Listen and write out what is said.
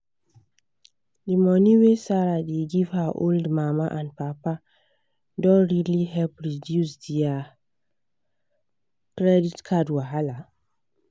the money wey sarah dey give her old mama and papa don really help reduce their credit card wahala.